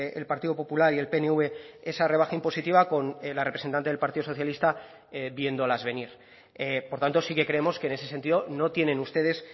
el partido popular y el pnv esa rebaja impositiva con la representante del partido socialista viéndolas venir por tanto sí que creemos que en ese sentido no tienen ustedes